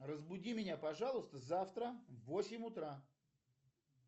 разбуди меня пожалуйста завтра в восемь утра